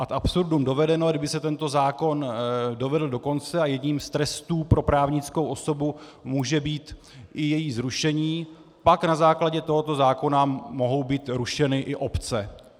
Ad absurdum dovedeno, kdyby se tento zákon dovedl do konce a jedním z trestů pro právnickou osobu může být i její zrušení, pak na základě tohoto zákona mohou být rušeny i obce.